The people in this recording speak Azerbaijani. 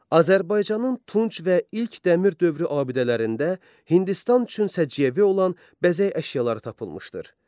Azərbaycanın tunj və ilk dəmir dövrü abidələrində Hindistan üçün səciyyəvi olan bəzək əşyaları tapılmışdır.